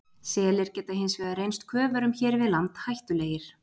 Selir geta hins vegar reynst köfurum hér við land hættulegir.